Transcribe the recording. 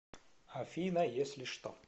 афина если что